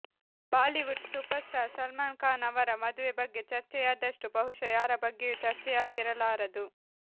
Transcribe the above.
Bollywood super star Salman Khan ಅವರ ಮದುವೆ ಬಗ್ಗೆ ಚರ್ಚೆಯಾದಷ್ಟು ಬಹುಶಃ ಯಾರ ಬಗ್ಗೆಯೂ ಚರ್ಚೆಯಾಗಿರಲಾರದು